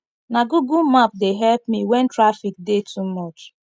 na google map dey help me wen traffic dey too much